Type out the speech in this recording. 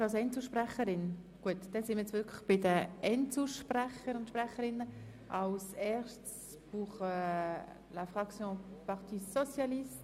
Wir sind nun bei den Einzelsprecherinnen und -sprechern angelangt.